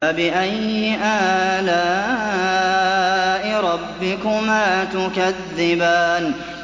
فَبِأَيِّ آلَاءِ رَبِّكُمَا تُكَذِّبَانِ